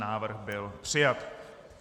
Návrh byl přijat.